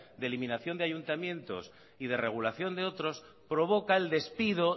de eliminación de ayuntamientos y de regulación de otros provoca el despido